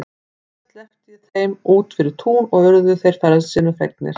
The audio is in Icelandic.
Síðan sleppti ég þeim út fyrir tún og urðu þeir frelsinu fegnir.